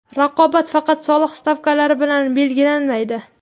Raqobat faqat soliq stavkalari bilan belgilanmaydi.